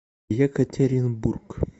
екатеринбург